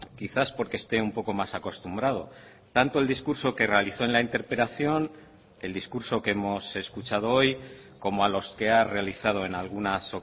quizás porque esté un poco más acostumbrado tanto el discurso que realizó en la interpelación el discurso que hemos escuchado hoy como a los que ha realizado en algunas